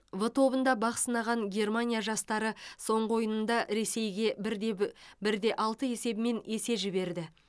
в тобында бақ сынаған германия жастары соңғы ойынында ресейге бір де б бір де алты есебімен есе жіберді